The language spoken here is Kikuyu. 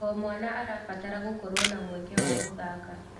O mwana arabatara gũkorwo na mweke wa gũthaka.